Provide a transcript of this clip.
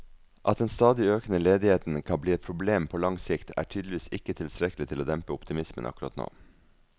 At den stadig økende ledigheten kan bli et problem på lang sikt, er tydeligvis ikke tilstrekkelig til å dempe optimismen akkurat nå.